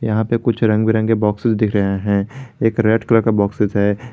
यहां पे कुछ रंग बिरंगे बॉक्सेस दिख रहे हैं एक रेड कलर का बॉक्सेस है।